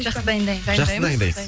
жақсы дайындаймын жақсы дайындайсыз